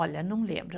Olha, não lembro.